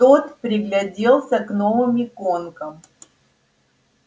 тот пригляделся к новым иконкам